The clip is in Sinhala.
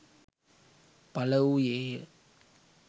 පළ වූයේ ය.